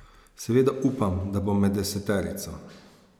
Seveda upam, da bom med deseterico.